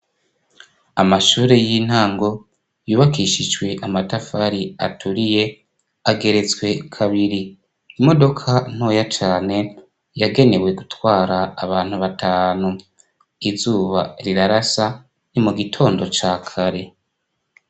Amashure y'intango yubakishijwe amatafari aturiye, ageretswe kabiri. Imodoka ntoya cane yagenewe gutwara abantu batanu. Izuba rirarasa ni mu gitondo ca kare.